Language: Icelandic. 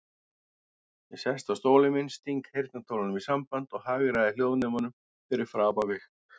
Ég sest á stólinn minn, sting heyrnartólunum í sambandi og hagræði hljóðnemanum fyrir framan mig.